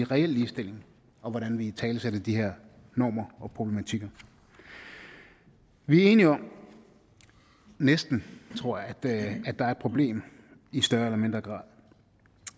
reel ligestilling og hvordan vi italesætter de her normer og problematikker vi er enige om næsten tror jeg at der er et problem i større eller mindre grad